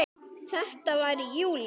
Þetta var í júlí.